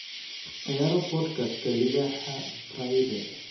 ciyaaro podcast-ka libaaxa prairie